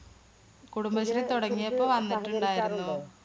കുടുംബശ്രീ തുടങ്ങിയപ്പോ വന്നിട്ടുണ്ടായിരുന്നു.